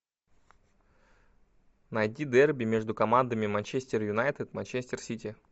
найди дерби между командами манчестер юнайтед манчестер сити